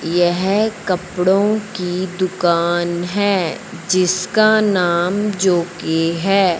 यह कपड़ों की दुकान है जिसका नाम जोकी है।